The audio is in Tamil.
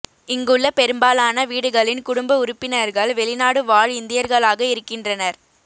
இங்குள்ள பெரும்பாலான வீடுகளின் குடும்ப உறுப்பினர்கள் வெளிநாடு வாழ் இந்தியர்களாக இருக்கின்றனர்